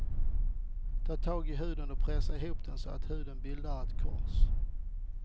Ta tag i huden och pressa ihop den så att huden bildar ett kors.